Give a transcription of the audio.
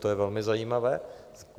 To je velmi zajímavé.